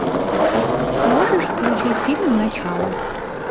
можешь включить фильм начало